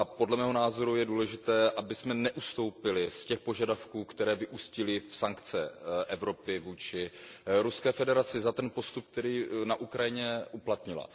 Podle mého názoru je důležité, abychom neustoupili z těch požadavků, které vyústily v sankce Evropy vůči Ruské federaci za postup, který na Ukrajině uplatnila.